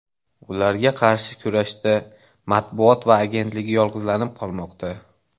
Ularga qarshi kurashda Matbuot va agentligi yolg‘izlanib qolmoqda.